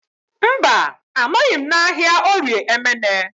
Mba, anọghị m n'ahịa Orie Emene